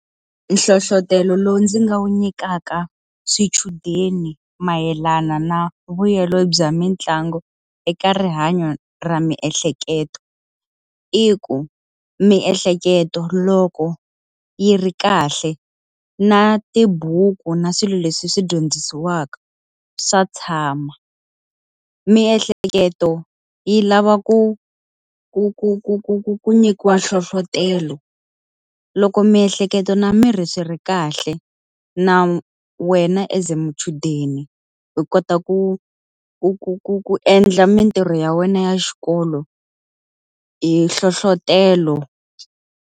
Nhlohletelo lowu ndzi nga wu nyikaka swichudeni mayelana na vuyelo bya mitlangu eka rihanyo ra miehleketo. I ku miehleketo loko yi ri kahle, na tibuku na swilo leswi swi dyondzisiwaka, swa tshama. Miehleketo yi lava ku ku ku ku ku ku ku nyikiwa nhlohletelo. Loko miehleketo na miri swi ri kahle, na wena as muchudeni u kota ku ku ku ku ku endla mitirho ya wena ya xikolo hi nhlohletelo.